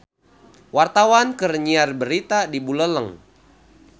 Wartawan keur nyiar berita di Buleleng